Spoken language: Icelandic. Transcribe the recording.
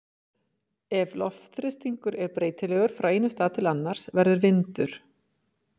Ef loftþrýstingur er breytilegur frá einum stað til annars verður vindur.